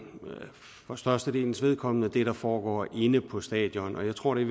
for størstedelens vedkommende vedrører det der foregår inde på stadion jeg tror det